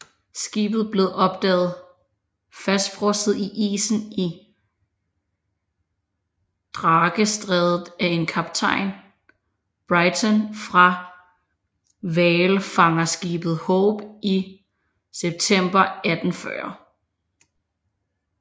Skibet blev opdaget fastfrosset i isen i Drakestrædet af en kaptajn Brighton fra hvalfangerskibet Hope i september 1840